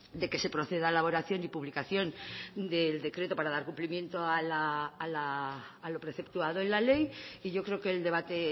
de que se proceda a elaboración y publicación del decreto para dar cumplimiento a lo preceptuado en la ley y yo creo que el debate